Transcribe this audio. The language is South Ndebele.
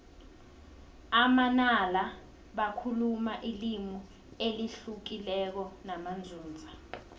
amanala bakhuluma ilimi elihlukileko namanzunza